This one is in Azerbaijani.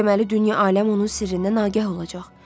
Deməli dünya aləm onun sirrindən agah olacaq.